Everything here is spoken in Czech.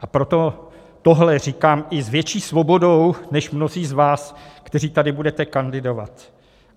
A proto tohle říkám i s větší svobodou než mnozí z vás, kteří tady budete kandidovat.